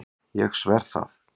Ég sver það.